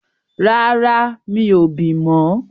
Rárá, mi ò bì mọ́.